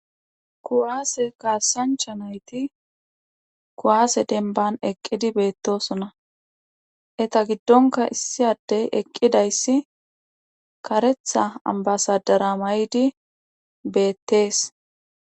kuwaase kaassancha nayti kuwaase denban eqqidi beettosona eta giddonka issi addey eqqidayssi karetha ambasadara may7di beettees